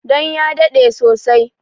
Dan ya daɗe sosai